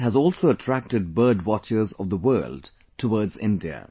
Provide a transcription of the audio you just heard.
This has also attracted bird watchers of the world towards India